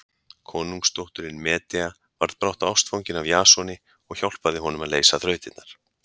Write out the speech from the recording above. Konungsdóttirin Medea varð brátt ástfangin af Jasoni og hjálpaði honum að leysa þrautirnar.